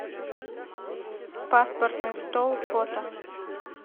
паспортный стол фото